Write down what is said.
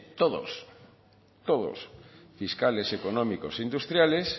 todos fiscales económicos industriales